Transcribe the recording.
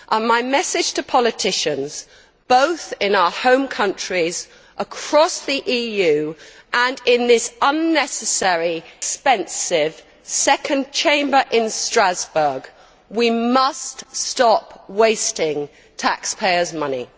My message to politicians both in our home countries across the EU and in this unnecessary, expensive second chamber in Strasbourg is that we must stop wasting taxpayers' money.